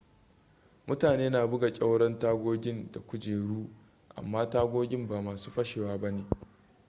mutane na buga ƙyauren tagogin da kujeru amma tagogin ba masu fashewa ba ne